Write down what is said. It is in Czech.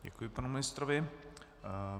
Děkuji panu ministrovi.